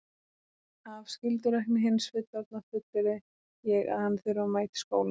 Af skyldurækni hins fullorðna fullyrði ég að hann þurfi að mæta í skólann.